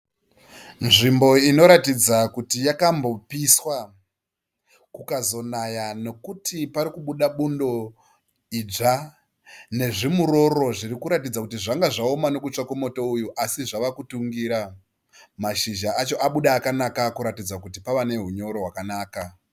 Nzvimbo inoratidza kuti yakambopiswa kukazonaya nekuti parikubuda bundo idzva nezvimuroro zvirikuratidza kuti zvanga zvaoma nekutsva kwemoto uyu asi zvava kutungira mashizha acho abuda akanaka kuratidza kuti pava nehunyoro hwakanaka.